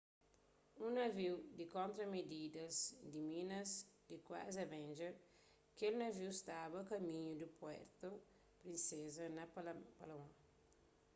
un naviu di kontra-mididas di minas di klasi avenger kel naviu staba a kaminhu di puerto princesa na palawan